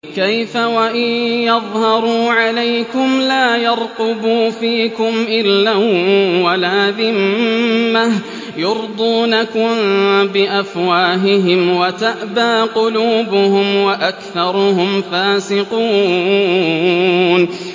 كَيْفَ وَإِن يَظْهَرُوا عَلَيْكُمْ لَا يَرْقُبُوا فِيكُمْ إِلًّا وَلَا ذِمَّةً ۚ يُرْضُونَكُم بِأَفْوَاهِهِمْ وَتَأْبَىٰ قُلُوبُهُمْ وَأَكْثَرُهُمْ فَاسِقُونَ